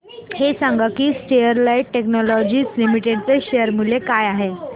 हे सांगा की स्टरलाइट टेक्नोलॉजीज लिमिटेड चे शेअर मूल्य काय आहे